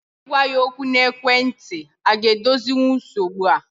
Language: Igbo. Ị gwa ya okwu n'ekwentị a ga edozinwu nsogbu a?